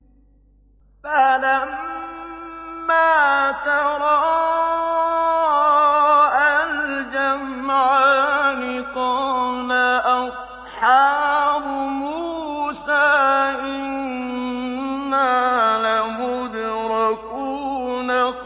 فَلَمَّا تَرَاءَى الْجَمْعَانِ قَالَ أَصْحَابُ مُوسَىٰ إِنَّا لَمُدْرَكُونَ